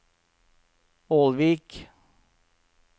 Ålvik